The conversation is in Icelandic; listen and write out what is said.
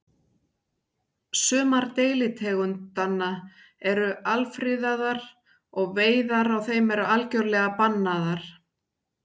Sumar deilitegundanna eru alfriðaðar og veiðar á þeim eru algjörlega bannaðar.